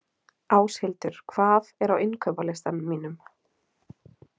Áshildur, hvað er á innkaupalistanum mínum?